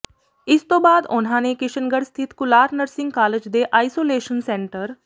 ਇਸ ਤੋਂ ਬਾਅਦ ਉਨ੍ਹਾਂ ਨੂੰ ਕਿਸ਼ਨਗੜ੍ਹ ਸਥਿਤ ਕੁਲਾਰ ਨਰਸਿੰਗ ਕਾਲਜ ਦੇ ਆਈਸੋਲੇਸ਼ਨ ਸੈਂਟਰ